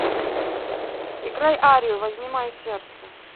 играй арию возьми мое сердце